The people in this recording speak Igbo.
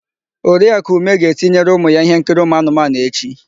Oriakụ Ume ga-etinyere ụmụ ya íhénkiri ụmụanụmanụ echi.